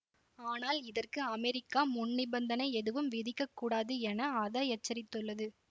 ஆனால் இதற்கு அமெரிக்கா முன்நிபந்தனை எதுவும் விதிக்கக்கூடாது என அதஎச்சரித்துள்ளது